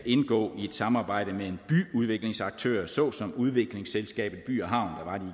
indgå i et samarbejde med en byudviklingsaktør såsom udviklingsselskabet by havn